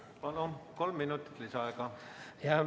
Palun, kolm minutit lisaaega!